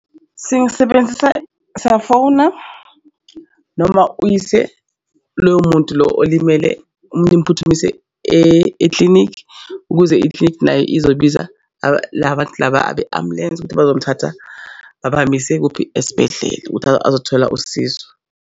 Sengisebenzisa safona noma uyise loyo muntu lo olimele nimphuthumise eklinikhi ukuze iklinikhi nayo izobiza la bantu laba abe ambulensi ukuthi bazomthatha babahambise kuphi esibhedlela ukuthi azothola usizo.